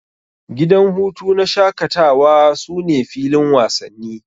Gidan hutu na shakatawa sune filin wasanni.